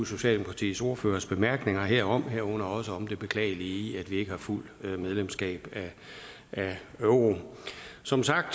socialdemokratiets ordførers bemærkninger herom herunder også om det beklagelige i at vi ikke har fuldt medlemskab af eu som sagt